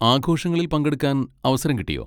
ആഘോഷങ്ങളിൽ പങ്കെടുക്കാൻ അവസരം കിട്ടിയോ?